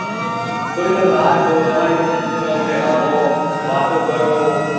થોડીંવાર બાર જો તમારી ઉમરના છોકરા જોડે રમો વાતો કરો